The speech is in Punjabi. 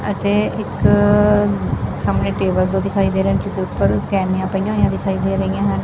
ਅਤੇ ਇੱਕ ਸਾਹਮਨੇ ਟੇਬਲ ਜਿਹਾ ਦਿਖਾਈ ਦੇ ਰਿਹਾ ਜਿਹਦੇ ਉੱਪਰ ਕੈਂਨੀਆਂ ਪਈਆਂ ਹੋਈਆਂ ਦਿਖਾਈ ਦੇ ਰਹੀਆਂ ਹਨ।